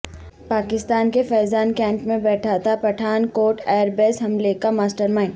پاکستان کے فیضان کینٹ میں بیٹھا تھا پٹھان کوٹ ائیر بیس حملے کا ماسٹر مائنڈ